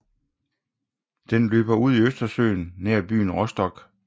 Den løber ud i Østersøen nær byen Rostock